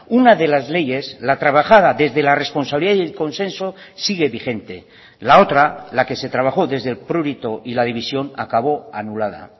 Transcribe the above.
una de las leyes la trabajada desde la responsabilidad y el consenso sigue vigente la otra la que se trabajó desde el prurito y la división acabó anulada